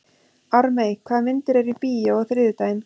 Ármey, hvaða myndir eru í bíó á þriðjudaginn?